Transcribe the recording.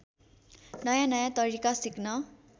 नयाँनयाँ तरिका सिक्न